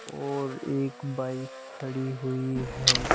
और एक बाइक खड़ी हुई है।